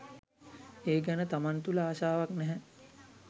ඒ ගැන තමන් තුළ ආශාවක් නැහැ.